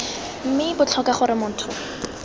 mme b tlhoka gore motho